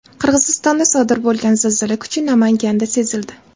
Qirg‘izistonda sodir bo‘lgan zilzila kuchi Namanganda sezildi.